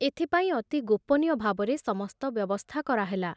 ଏଥିପାଇଁ ଅତି ଗୋପନୀୟ ଭାବରେ ସମସ୍ତ ବ୍ୟବସ୍ଥା କରାହେଲା।